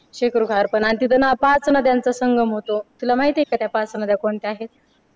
शेकरू खार आणि त्यांना पाच नद्यांचा संगम होतो तुला माहिती आहे का त्या पाच नद्या कोणत्या आहेत